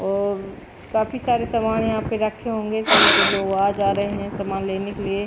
और काफी सारे सामान यहां पे रखे होंगे तभी तो लोग आ जा रहे हैं सामान लेने के लिए।